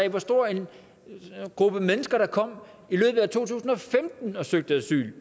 af hvor stor en gruppe mennesker der kom og søgte asyl